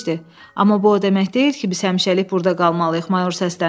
Amma bu o demək deyil ki, biz həmişəlik burda qalmalıyıq, Mayor səsləndi.